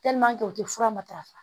u tɛ fura matarafa